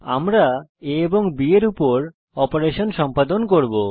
আমরা a ও b এর উপর অপারেশন সম্পাদন করব